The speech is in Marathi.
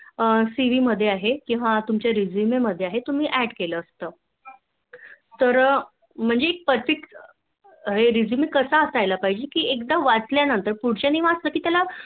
CV मध्ये आहे किंवा Resume मध्ये आहे किंवा Add असत कि कसा Perfect resume कस असायला पाहिजे कि एकदा वाचायला नंतर पुढच्याने वाचाल कि त्याला